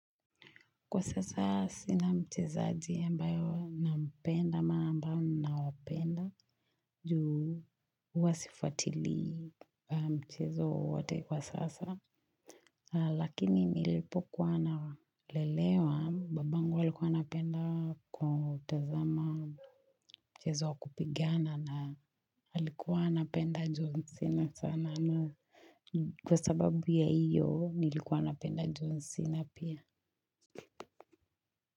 Kwa sasa sina mchezaji ambayo nampenda ama ambao nawapenda juu huwa sifwatili mchezo wowote kwa sasa Lakini nilipokuwa nalelewa babangu alikuwa anapenda kutazama mchezo wa kupigana na alikuwa anapenda john cena sana na Kwa sababu ya iyo nilikuwa napenda john cena pia.